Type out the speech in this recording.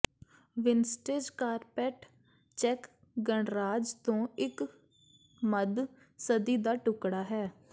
vintage carpet ਚੈੱਕ ਗਣਰਾਜ ਤੋਂ ਇਕ ਮੱਧ ਸਦੀ ਦਾ ਟੁਕੜਾ ਹੈ